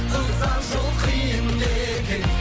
ұзақ жол қиын екен